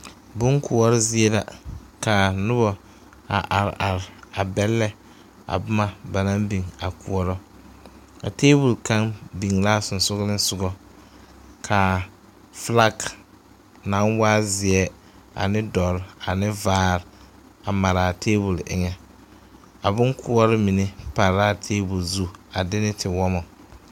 Bonkoɔre zie la kaa nobɔ a are are a bɛllɛ a boma ba naŋ biŋ a koɔrɔ a tabole kaŋ biŋ laa sensugkiŋsugɔ kaa flak naŋ waa zeɛ ane dɔre ane vaare a maraa tabole eŋɛ a bonkoɔre mine pare laa tabole zu a de ne tiwɔmɔ.